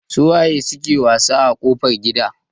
Su waye suke wasa a kofar gida?